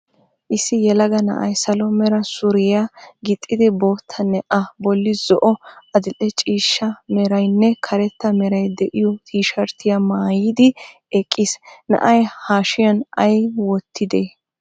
Issi yelaga na"ay salo mera suriyaa gixxidi, boottanne a bollan zo"o, adill"e ciishsha meranne karetta meray de"iyoo tiisherttiyaa maayidi eqqiis. na"ay hashiyan ayi wottidee?